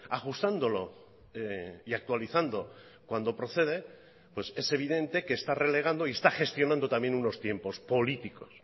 ajustándolo y actualizando cuando procede pues es evidente que está relegando y está gestionando también unos tiempos políticos